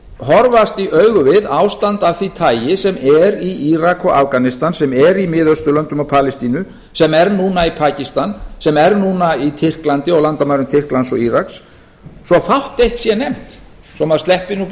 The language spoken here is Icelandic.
horfast í augu við ástand af því tagi sem er í írak og afganistan sem er í mið austurlöndum og palestínu sem er núna í pakistan sem er núna í tyrklandi og á landamærum tyrklands og íraks svo fátt eitt sé nefnt svo maður sleppi nú